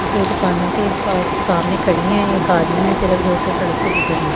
दो दुकानों के पास सामने खड़ी हैं एक आदमी है सिर्फ जो कि सड़क से गुजर रहा है।